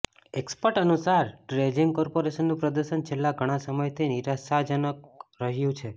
expert અનુસાર dredging કોર્પોરેશનનું પ્રદર્શન છેલ્લા ઘણા સમયથી નિરાશાજનક રહ્યું છે